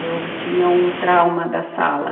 Eu tinha um trauma da sala.